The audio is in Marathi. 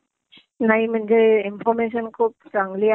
नाई म्हणजे इन्फॉर्मेशन खूप चांगली आहे.